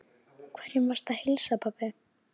Hverjum varstu að heilsa, pabbi?